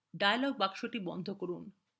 dialog box বন্ধ করুন